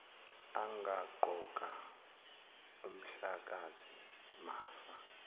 angaqoka umhlakazi mafa